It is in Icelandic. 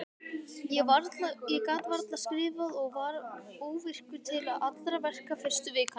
Ég gat varla skrifað og var óvirkur til allra verka fyrstu vikuna.